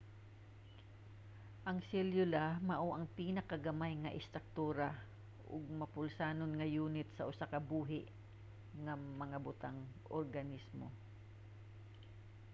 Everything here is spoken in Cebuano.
ang selula mao ang pinakagamay nga istruktura ug mapulsanon nga yunit sa usa ka buhi nga mga butang organismo